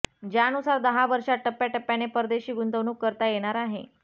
ज्यानुसार दहा वर्षात टप्प्याटप्प्याने परदेशी गुंतवणूक करता येणार आहे